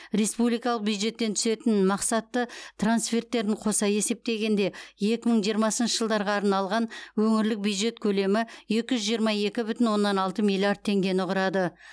республикалық бюджеттен түсетін мақсатты трансферттерін қоса есептегенде екі мың жиырмасыншы жылға арналған өңірлік бюджет көлемі екі жүз жиырма екі бүтін оннан алты миллиард теңгені құрады